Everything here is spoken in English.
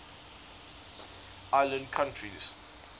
island countries